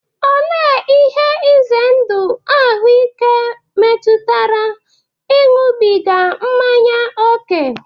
Olee ihe ize ndụ ahụike metụtara ịṅụbiga mmanya ókè?